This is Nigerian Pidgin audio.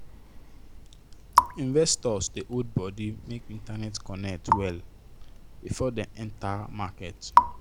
investors dey hold body make internet connect well before dem enter market